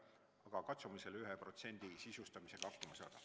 Aga katsume selle 1% sisustamisega hakkama saada.